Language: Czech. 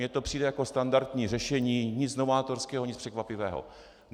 Mně to přijde jako standardní řešení, nic novátorského, nic překvapivého.